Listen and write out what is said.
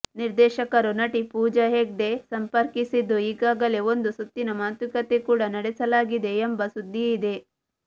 ನಿರ್ದೇಶಕರು ನಟಿ ಪೂಜಾ ಹೆಗ್ಡೆ ಸಂಪರ್ಕಿಸಿದ್ದು ಈಗಾಗಲೇ ಒಂದು ಸುತ್ತಿನ ಮಾತುಕತೆ ಕೂಡ ನಡೆಸಿಲಾಗಿದೆ ಎಂಬ ಸುದ್ದಿಯಿದೆ